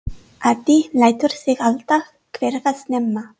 Addi lætur sig alltaf hverfa snemma.